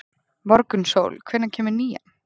Morgunsól, hvenær kemur nían?